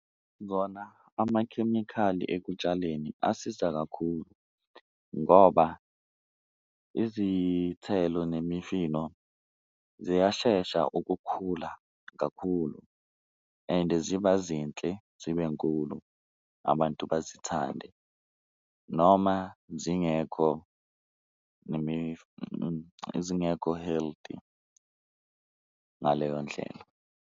Kona amakhemikhali ekutshaleni asiza kakhulu ngoba izithelo nemifino ziyashesha ukukhula kakhulu and ziba zinhle zibe nkulu, abantu bazithande noma zingekho zingekho healthy ngaleyo ndlela.